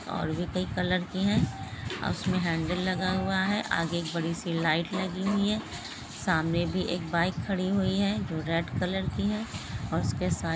और भी कई कलर की है और उसमें हैंडल लगा हुआ है आगे एक बड़ी सी लाइट लगी हुई है| सामने भी एक बाइक खड़ी हुई है जो रेड कलर की है और उसके साथ--